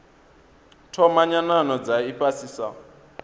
thoma nyanano dza ifhasi sa